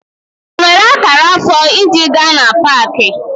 Enwere akara afọ iji gaa na Pááki?